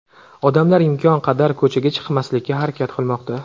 Odamlar imkon qadar ko‘chaga chiqmaslikka harakat qilmoqda.